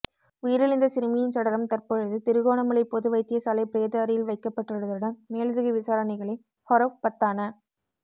உயிரிழந்த சிறுமியின் சடலம் தற்பொழுது திருகோணமலை பொது வைத்தியசாலை பிரேத அறையில் வைக்கப்பட்டுள்ளதுடன் மேலதிக விசாரணைகளை ஹொரவ்பத்தான